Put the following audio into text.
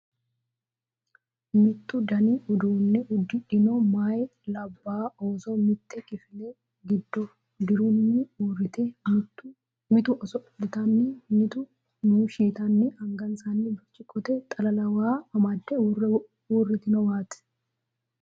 Mittu dani uduunne uddidhino meeyanna labbay ooso mitte kifile giddo dirunni uurrite, mitu oso'litanni mitu muushshi yitanni angansanni birciqqote xalala waa amadde uurritinowaati.